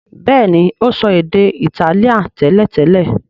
béèni, o so èdè Itálíà teletele.